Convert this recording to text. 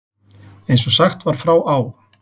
Eins og sagt var frá á